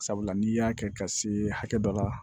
Sabula n'i y'a kɛ ka se hakɛ dɔ la